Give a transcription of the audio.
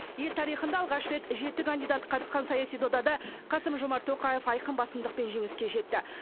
ел тарихында алғаш рет жеті кандидат қатысқан саяси додада қасым жомарт тоқаев айқын басымдықпен жеңіске жетті